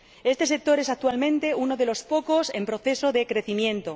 Este sector es actualmente uno de los pocos en proceso de crecimiento